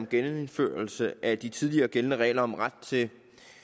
om genindførelse af de tidligere gældende regler om ret til